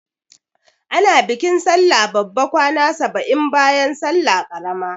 Ana bikin sallah babba kwana saba'in bayan salla ƙarama.